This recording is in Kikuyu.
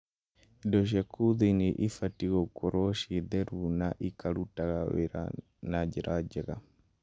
Indo cia kuo thĩinĩ ibatiĩ gũkoragwo ciĩ theru na ikarutaga wĩra na njĩra njega.